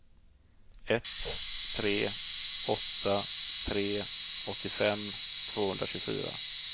ett tre åtta tre åttiofem tvåhundratjugofyra